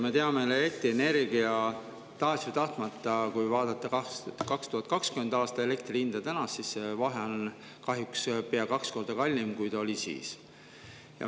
Me teame, tahes või tahtmata, kui vaadata 2020. aasta ja tänast hinda, et on nüüd kahjuks pea kaks korda kallim, kui ta oli siis.